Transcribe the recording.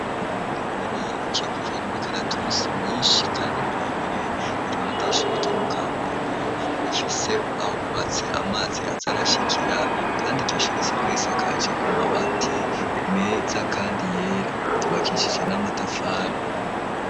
Uruhande runini, rukikujwe n'imikaratusi myinshi kandi miremire, iruhande y'ishuri ryo mu Kamenge, rifise aho bubatse amazi aza arashikira, kandi iryo shuri risanzwe risakaje amabati meza kandi yera, ryubakishije n'amatafari.